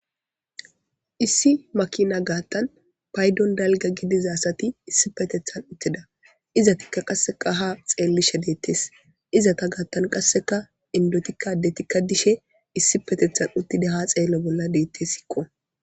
Issi makina gaattan paydon dalga gidizaasati issi petethan uttida izatikka qasseka ha xeellishe deettes izata gaattan qasseka indotikkadetikka dishe issi petethan uttida ha xeello bolla deette sikko.